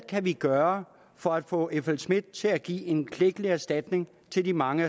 kan gøre for at få flsmidth til at give en klækkelig erstatning til de mange